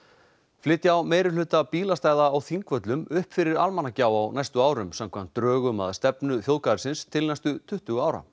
flytja á meirihluta bílastæða á Þingvöllum upp fyrir Almannagjá á næstu árum samkvæmt drögum að stefnu þjóðgarðsins til næstu tuttugu ára